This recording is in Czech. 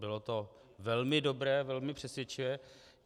Bylo to velmi dobré, velmi přesvědčivé.